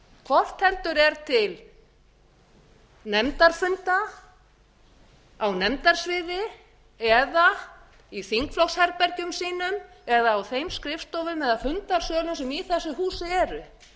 hvort heldur er til nefndarfunda á nefndasviði eða í þingflokksherbergjum sínum eða á þeim skrifstofum eða fundarsölum sem í þessu húsi eru